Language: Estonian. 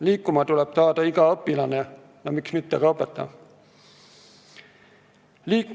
Liikuma tuleb saada iga õpilane ja miks mitte ka õpetaja.